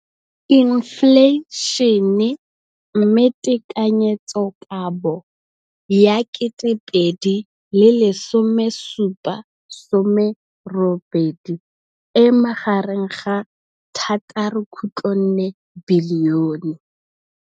Infleišene, mme tekanyetsokabo ya 2017, 18, e magareng ga R6.4 bilione.